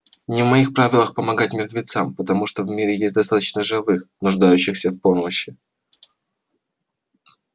не в моих правилах помогать мертвецам потому что в мире есть достаточно живых нуждающихся в помощи